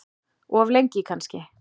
Of lengi kannski.